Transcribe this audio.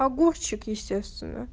огурчик естественно